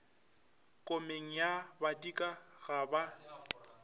komeng ye badika ga ba